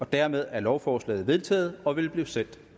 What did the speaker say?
dermed er lovforslaget vedtaget og vil blive sendt